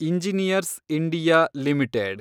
engineers India limited